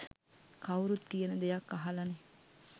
කවුරුත් කියන දෙයක් අහලනේ.